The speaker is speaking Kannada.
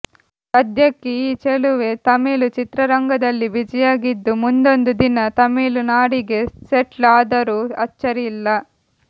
ಸದ್ಯಕ್ಕೆ ಈ ಚೆಲುವೆ ತಮಿಳು ಚಿತ್ರರಂಗದಲ್ಲಿ ಬಿಜಿಯಾಗಿದ್ದು ಮುಂದೊಂದು ದಿನ ತಮಿಳುನಾಡಿಗೆ ಸೆಟ್ಲ್ ಆದರೂ ಅಚ್ಚರಿಯಿಲ್ಲ